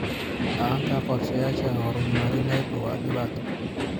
La'aanta qorshayaasha horumarineed waa dhibaato.